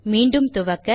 மீண்டும் துவக்க